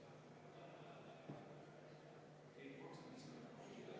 Kalle!